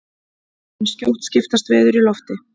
en skjótt skipast veður í lofti!